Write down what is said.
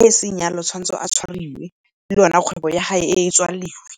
e seng yalo o tshwanetse a tshwariwe le yone kgwebo ya ge e tswaliwe.